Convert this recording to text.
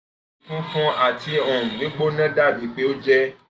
funfun ati um gbigbona dabi pe o jẹ